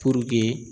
Puruke